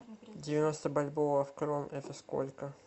девяносто бальбоа в крон это сколько